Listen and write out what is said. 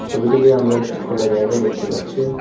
ছবিটিকে আমরা একটি খোলা জায়গা দেখতে পাচ্ছি।